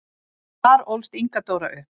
Þar ólst Inga Dóra upp.